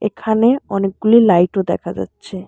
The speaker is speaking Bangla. এখানে অনেকগুলি লাইট -ও দেখা যাচ্ছে।